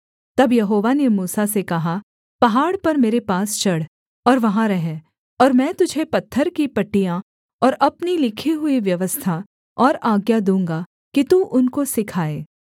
तब यहोवा ने मूसा से कहा पहाड़ पर मेरे पास चढ़ और वहाँ रह और मैं तुझे पत्थर की पटियाएँ और अपनी लिखी हुई व्यवस्था और आज्ञा दूँगा कि तू उनको सिखाए